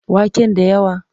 Waken da yawa?